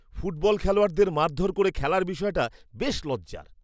Football খেলোয়াড়দের মারধর করে খেলার বিষয়টা বেশ লজ্জার।